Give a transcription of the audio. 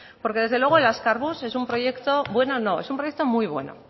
porque desde luego el azkarbus es un proyecto bueno no es un proyecto muy bueno